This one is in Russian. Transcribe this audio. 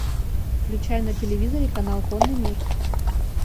включай на телевизоре канал конный мир